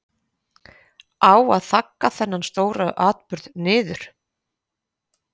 Á að þagga þennan stóra atburð niður?